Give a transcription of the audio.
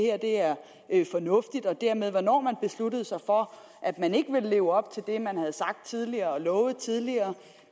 er fornuftigt og dermed besluttede sig for at man ikke ville leve op til det man havde sagt tidligere og lovet tidligere